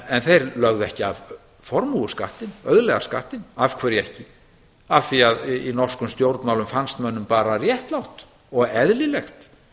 en þeir lögðu ekki af formúuskattinn auðlegðarskattinn af hverju ekki af því að í norskum stjórnmálum fannst mönnum bara réttlátt og eðlilegt